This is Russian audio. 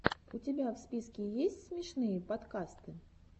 у тебя в списке есть смешные подкасты